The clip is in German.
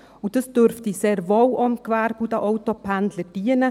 Und dies dürfte sehr wohl auch dem Gewerbe und den Autopendlern dienen;